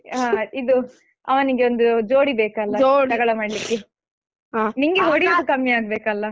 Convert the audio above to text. ಹಾ ಇದು ಅವನಿಗೊಂದು ಜೋಡಿ ಬೇಕಲ್ಲ ಜಗಳ ಮಾಡ್ಲಿಕ್ಕೆ ನಿಂಗೆ ಹೊಡೆಯುವುದು ಕಮ್ಮಿ ಆಗಬೇಕಲ್ಲ.